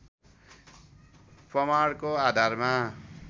प्रमाणको आधारमा